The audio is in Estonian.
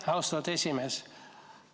Aitäh, austatud esimees!